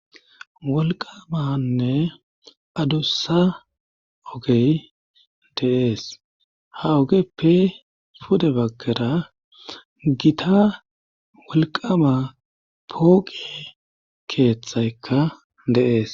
wolqamanne addussa ogey deees ha ogeppe pude bagkera gita wolqama pooqe keeththaykka deees